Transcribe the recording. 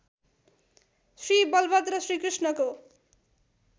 श्रीबलभद्र श्रीकृष्णको